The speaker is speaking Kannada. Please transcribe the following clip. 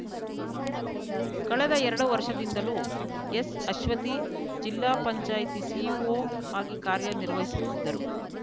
ಕಳೆದ ಎರಡು ವರ್ಷದಿಂದಲೂ ಎಸ್‌ಅಶ್ವತಿ ಜಿಲ್ಲಾ ಪಂಚಾಯ್ತಿ ಸಿಇಓ ಆಗಿ ಕಾರ್ಯ ನಿರ್ವಹಿಸುತ್ತಿದ್ದರು